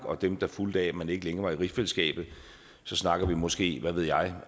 og dem der fulgte af at man ikke længere var i rigsfællesskabet så snakker vi måske hvad ved jeg